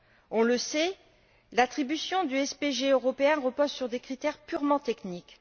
On le sait, l'attribution du SPG européen repose sur des critères purement techniques.